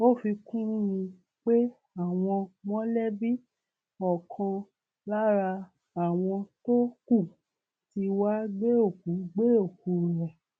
ó fi kún un pé àwọn mọlẹbí ọkan lára àwọn tó kù tí wàá gbé òkú gbé òkú rẹ